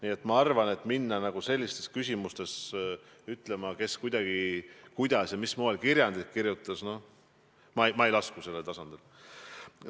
Aga ma arvan, et hakata arutama selliste küsimuste üle, kes kuidas kirjandit kirjutas – no ma ei lasku sellele tasemele.